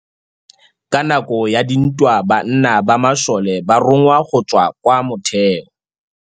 Ka nakô ya dintwa banna ba masole ba rongwa go tswa kwa mothêô.